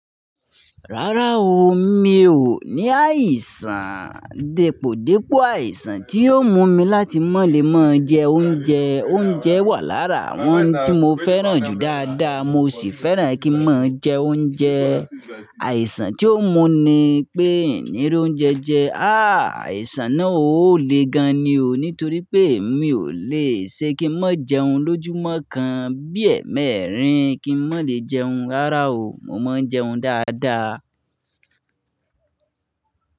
Rárá o, mi ò ní àìsàn. Dèpòdípò àìsàn tí yóò mú mi láti mọ̀lé mọ́ jẹ oúnjẹ. Oúnjẹ wà lára àwọn ohun tí mo fẹ́ràn jù dáadáa mo sì fẹ́ràn kí n mọ́ jẹ oúnjẹ. Àìsàn tí ó mú ni pé hiń ńí rí oúnjẹ jẹ. HÀ àìsàn náà ó le gan ni o nítorí pé èmi ò le ṣe kí n má jẹun lójúmọ́ kan bí ẹẹ̀mẹrin kí n má le jẹun. Rárá o, mo máa ń jẹun dáadáa.